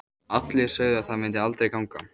Allir sögðu að það myndi aldrei ganga.